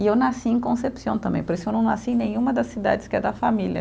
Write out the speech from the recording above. E eu nasci em Concepción também, por isso eu não nasci em nenhuma das cidades que é da família.